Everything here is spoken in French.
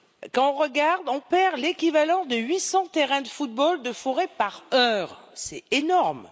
Quand on regarde, on perd l'équivalent de 800 terrains de football de forêt par heure, c'est énorme.